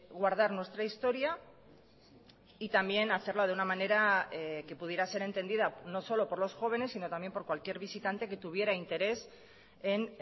guardar nuestra historia y también hacerlo de una manera que pudiera ser entendida no solo por los jóvenes sino también por cualquier visitante que tuviera interés en